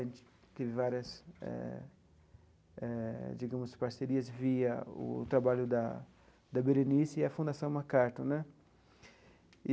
A gente teve várias eh eh, digamos, parcerias via o trabalho da da Berenice e a Fundação MacArthur né.